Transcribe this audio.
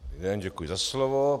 Dobrý den, děkuji za slovo.